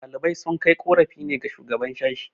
ɗalibai sun kai korafi ne ga shugaban sashi